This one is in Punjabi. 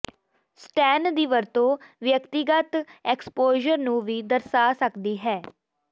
ਸਟੈੱਨ ਦੀ ਵਰਤੋਂ ਵਿਅਕਤੀਗਤ ਐਕਸਪੋਜਰ ਨੂੰ ਵੀ ਦਰਸਾ ਸਕਦੀ ਹੈ